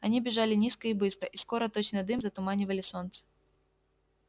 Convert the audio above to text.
они бежали низко и быстро и скоро точно дым затуманивали солнце